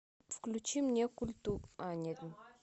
включи мне а нет